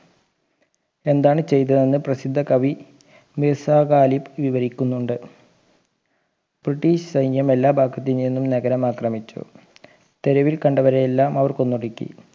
എന്താണ് ചെയ്തതെന്ന് പ്രസിദ്ധ കവി മീസാ ഖാലിബ് വിവരിക്കുന്നുണ്ട് ബ്രിട്ടീഷ് സൈന്യം എല്ലാ ഭാഗത്ത് നിന്നും നഗരം ആക്രമിച്ചു തെരിവിൽ കണ്ടവരെയെല്ലാം അവർ കൊന്നൊടുക്കി